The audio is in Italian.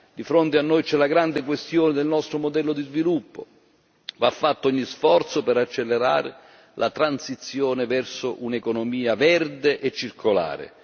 di fronte a noi c'è la grande questione del nostro modello di sviluppo va fatto ogni sforzo per accelerare la transizione verso un'economia verde e circolare.